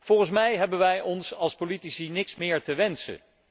Volgens mij hebben wij als politici niets meer te wensen.